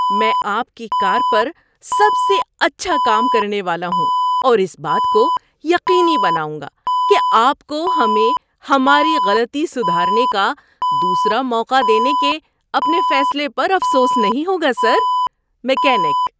میں آپ کی کار پر سب سے اچھا کام کرنے والا ہوں اور اس بات کو یقینی بناؤں گا کہ آپ کو ہمیں ہماری غلطی سدھارنے کا دوسرا موقع دینے کے اپنے فیصلے پر افسوس نہیں ہوگا، سر! (میکینک)